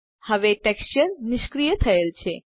હવે ટેક્સચર નિષ્ક્રિય થયેલ છે